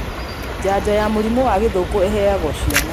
Njanjo ya mũrimũ wa gĩthũkũ ĩheagwo ciana